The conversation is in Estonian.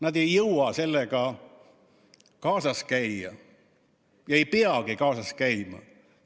Nad ei jõua sellega kaasas käia ega peagi kaasas käima.